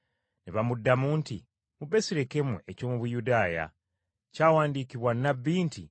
Ne bamuddamu nti, “Mu Besirekemu eky’omu Buyudaaya, kyawandiikibwa nnabbi nti,